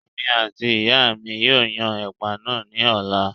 Èmi àti ìyáa mi yóò yan ẹ̀pà náà ní ọ̀la